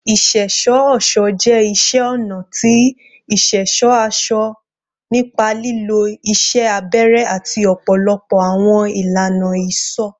Iṣẹṣọ-ọṣọ jẹ iṣẹ ọna ti iṣẹṣọ aṣọ nipa lilo iṣẹ abẹrẹ ati ọpọlọpọ awọn ilana isọ